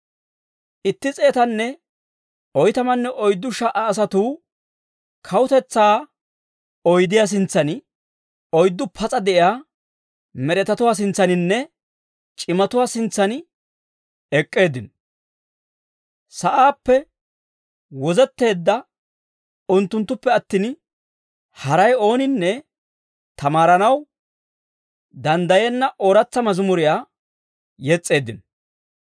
Itti s'eetanne oytamanne oyddu sha"a asatuu kawutetsaa oydiyaa sintsan, oyddu pas'a de'iyaa med'etatuwaa sintsaaninne c'imatuwaa sintsan ek'k'eeddino. Sa'aappe wozetteedda unttunttuppe attin, haray ooninne tamaaranaw danddayenna ooratsa mazimuriyaa yes's'eeddino.